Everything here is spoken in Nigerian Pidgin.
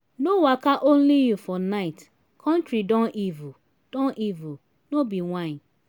no waka only you for night country don evil don evil no be whine.